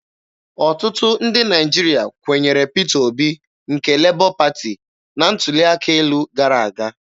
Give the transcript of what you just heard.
Ọtụtụ ndị Naịjirịa kwenyere Peter Obi nke Lebọ Pati na ntuli aka elu gara aga.